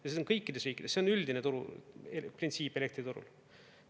Ja see on kõikides riikides, see on üldine printsiip elektriturul.